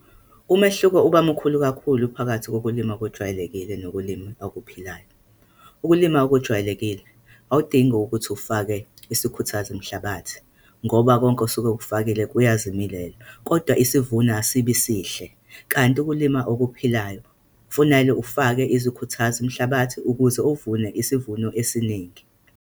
Umehluko uba mkhulu kakhulu phakathi kokulima okwejwayelekile nokulima okuphilayo. Ukulima okujwayelekile, awudingi ukuthi ufake isikhuthazo mhlabathi, ngoba konke osuke ukufakile kuyazimilela, kodwa isivuno asibi sihle. Kanti ukulima okuphilayo, kufunake ufake izikhuthazo mhlabathi ukuze ovune isivuno esiningi.